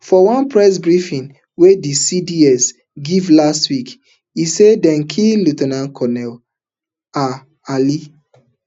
for one press briefing wey di CDS give last week e say dem kill lieu ten ant colonel ah ali